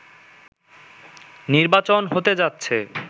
নির্বাচন হতে যাচ্ছে